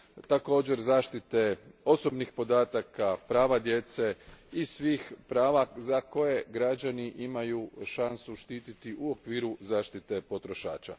također zaštite osobnih podataka, prava djece i svih prava koje građani imaju šansu štititi u okviru zaštite potrošača.